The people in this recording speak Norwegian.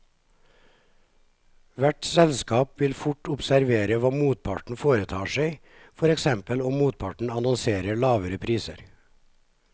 Hvert selskap vil fort observere hva motparten foretar seg, for eksempel om motparten annonserer lavere priser.